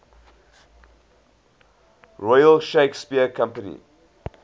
royal shakespeare company